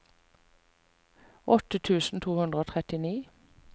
åtte tusen to hundre og trettini